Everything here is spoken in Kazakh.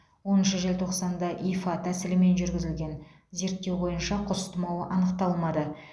оныншы желтоқсанда ифа тәсілімен жүргізілген зерттеу бойынша құс тұмауы анықталмады